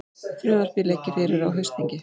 Frumvarpið liggi fyrir á haustþingi